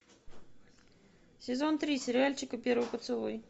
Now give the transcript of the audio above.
сезон три сериальчика первый поцелуй